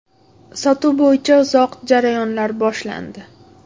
Sotuv bo‘yicha uzoq jarayonlar boshlandi.